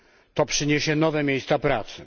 To przyniesie nowe miejsca pracy.